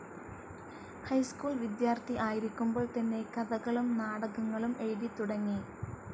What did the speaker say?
High school വിദ്യാർത്ഥി ആയിരിക്കുമ്പോൾ തന്നെ കഥകളും നാടകങ്ങളും എഴുതിത്തുടങ്ങി.